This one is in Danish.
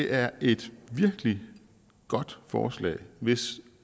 er et virkelig godt forslag hvis